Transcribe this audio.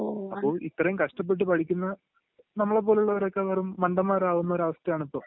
അപ്പൊ ഇത്രേം കഷ്ടപ്പെട്ട് പഠിക്കുന്ന നമ്മളെപ്പോരുള്ളവരൊക്കെ വെറും മണ്ടന്മാരാവുന്ന ഒരു അവസ്ഥയാണിപ്പോ